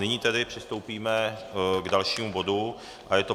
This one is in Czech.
Nyní tedy přistoupíme k dalšímu bodu a je to